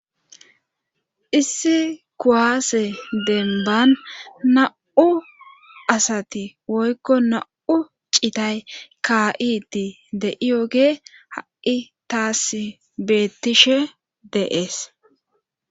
Issi kuaase denban na'u asati woykko na7u citay ka7idi deiyoge ha'i taas bettishe deees.